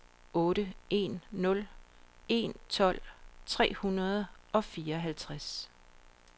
otte en nul en tolv tre hundrede og fireoghalvtreds